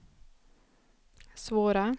svåra